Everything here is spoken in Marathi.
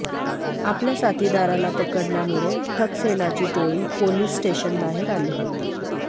आपल्या साथीदाराला पकडल्यामुळे ठकसेनाची टोळी पोलिस स्टेशनबाहेर आली होती